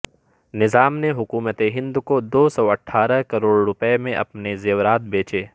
نظام نے حکومت ہند کو دو سو اٹھارہ کروڑ روپے میں اپنے زیورات بیچے